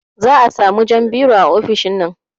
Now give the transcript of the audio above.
Za a samun jan biro a ofishinnan